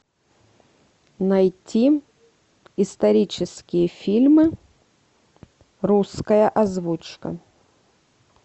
найти исторические фильмы русская озвучка